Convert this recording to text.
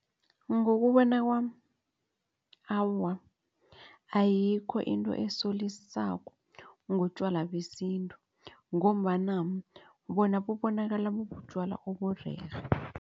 Ngokubona kwami awa ayikho into esolisako ngotjwala besintu ngombana bona bubonakala bubutjwala oburerhe.